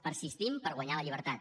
persistim per guanyar la llibertat